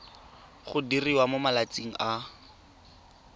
go diriwa mo malatsing a